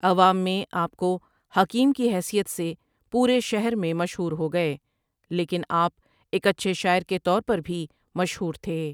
عوام میں آپ کو حکیم کی حیثیت سے پورے شہر میں مشہور ہو گئے لیکن آپ ایک اچھے شاعر کے طور پر بھی مشہور تھے ۔